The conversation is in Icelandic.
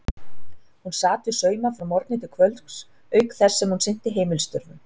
Hún sat við sauma frá morgni til kvölds auk þess sem hún sinnti heimilisstörfunum.